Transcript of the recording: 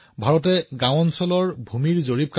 গাঁৱত খেতি কৰাই হওঁক বা ঘৰত সামগ্ৰী বিতৰণ কৰাই হওঁক